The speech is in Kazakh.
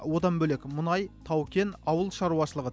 одан бөлек мұнай тау кен ауыл шаруашылығы